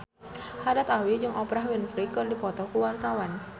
Haddad Alwi jeung Oprah Winfrey keur dipoto ku wartawan